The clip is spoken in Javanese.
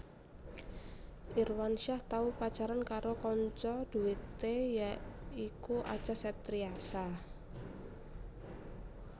Irwansyah tau pacaran karo kanca dhuwete ya iku Acha Septriasa